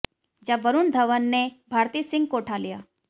जब वरुण धवन ने भारती सिंह को उठा लिया